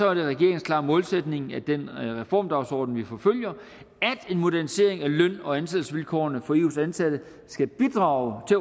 er det regeringens klare målsætning med den reformdagsorden vi forfølger at en modernisering af løn og ansættelsesvilkårene for eus ansatte skal bidrage til